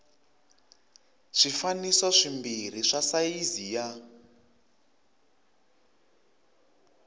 swifaniso swimbirhi swa sayizi ya